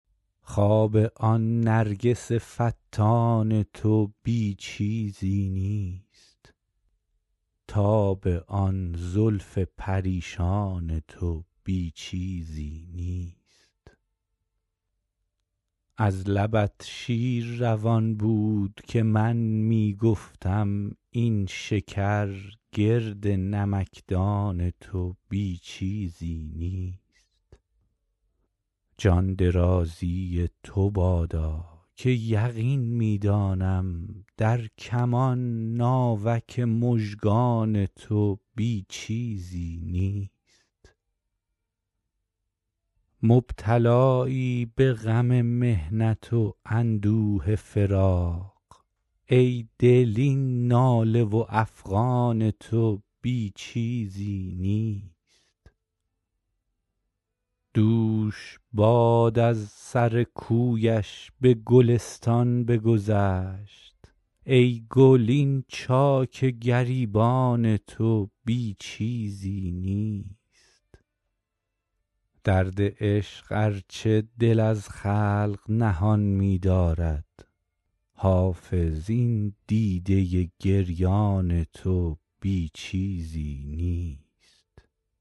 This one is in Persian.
خواب آن نرگس فتان تو بی چیزی نیست تاب آن زلف پریشان تو بی چیزی نیست از لبت شیر روان بود که من می گفتم این شکر گرد نمکدان تو بی چیزی نیست جان درازی تو بادا که یقین می دانم در کمان ناوک مژگان تو بی چیزی نیست مبتلایی به غم محنت و اندوه فراق ای دل این ناله و افغان تو بی چیزی نیست دوش باد از سر کویش به گلستان بگذشت ای گل این چاک گریبان تو بی چیزی نیست درد عشق ار چه دل از خلق نهان می دارد حافظ این دیده گریان تو بی چیزی نیست